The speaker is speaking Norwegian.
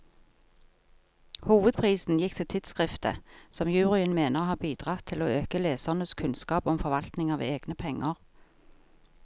Hovedprisen gikk til tidskriftet, som juryen mener har bidratt til å øke lesernes kunnskap om forvaltning av egne penger.